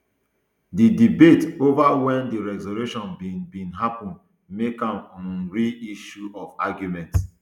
di debate over wen di resurrection bin bin happun make am um real issue of argument